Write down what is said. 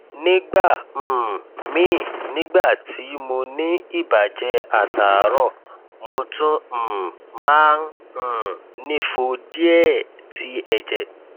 nígbà um míì nígbà tí mo ní ìbàjẹ àtàárọ mo tún um máa um nìfo díẹẹ ti ẹjẹ